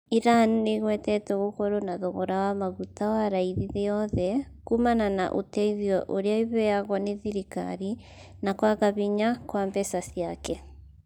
Iran nĩ ĩgwetetwo gũkorwo na thogora wa maguta wa raithi thĩ yothe kumana na ũteithio ũrĩa ĩheagwo nĩ thirikari na kwaga hinya kwa mbeca ciake